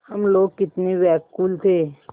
हम लोग कितने व्याकुल थे